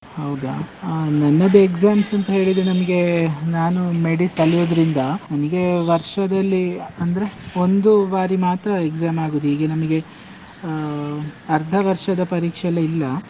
ಹೌದಾ? ಅಹ್ ನನ್ನದು exams ಅಂತ ಹೇಳಿದ್ರೆ ನಮ್ಗೆ, ನಾನು medis ಕಲಿಯೋದ್ರಿಂದ, ನಮ್ಗೆ ವರ್ಷದಲ್ಲಿ ಅಂದ್ರೆ ಒಂದು ಬಾರಿ ಮಾತ್ರ exam ಆಗುದ್ ಈಗ ನಮಿಗೆ, ಆ ಅರ್ದ ವರ್ಷದ ಪರೀಕ್ಷೆ ಎಲ್ಲ ಇಲ್ಲ.